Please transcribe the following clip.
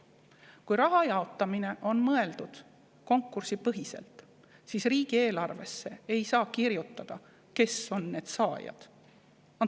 Kui raha jaotamine on mõeldud konkursipõhiselt, siis riigieelarvesse ei saa kirjutada, kes on need saajad.